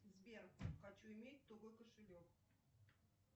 сбер хочу иметь тугой кошелек